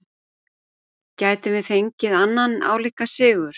Gætum við fengið annan álíka sigur?